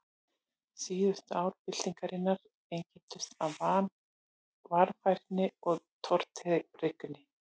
Síðustu ár byltingarinnar einkenndust af varfærni og tortryggni.